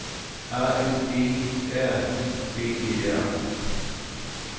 A N G R I B E R